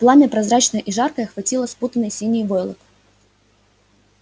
пламя прозрачное и жаркое охватило спутанный синий войлок